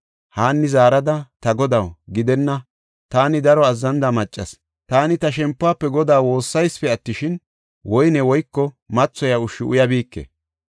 Haanni zaarada, “Ta Godaw, gidenna; taani daro azzanida maccas; taani ta shempuwafe Godaa woossaysipe attishin, woyne woyko mathoyiya ushshu uyabike.